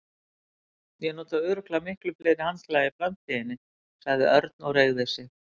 Ég nota örugglega miklu fleiri handklæði í framtíðinni sagði Örn og reigði sig.